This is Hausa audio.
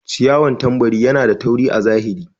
ciyawan tambari Yana da tauri a zahiri.